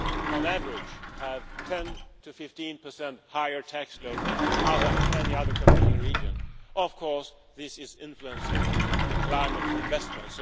on average have a 10 to 15 higher tax load than in any other competing region, of course this is influencing the climate for investment.